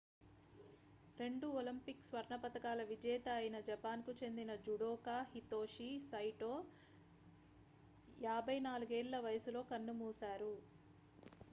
రెండు ఒలింపిక్ స్వర్ణ పతకాల విజేత అయిన జపాన్ కు చెందిన జుడోకా హితోషి సైటో 54 ఏళ్ల వయసులో కన్నుమూశారు